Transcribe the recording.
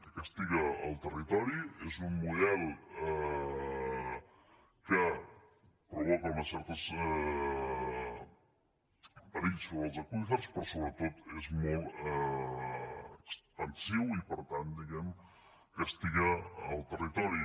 que castiga el territori és un model que provoca uns certs perills sobre els aqüífers però sobretot és molt expansiu i per tant diguem castiga el territori